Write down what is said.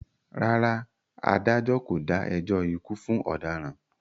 Rárá, adájọ́ kò dá ẹjọ́ ikú fún ọ̀daràn.